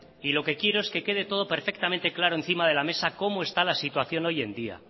y lo que quiero es que quede todo perfectamente claro encima de la mesa cómo está la situación hoy en día